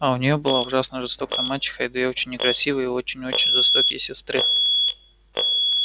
а у неё была ужасно жестокая мачеха и две очень некрасивые и очень-очень жестокие сестры